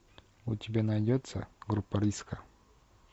у тебя найдется группа риска